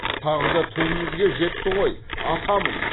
тағы да түбімізге жетті ғой атамын